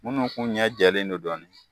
Munnu kun ɲɛ jɛlen don dɔɔni